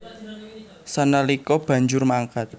Sanalika banjur mangkat